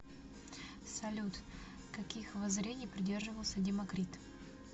салют каких воззрений придерживался демокрит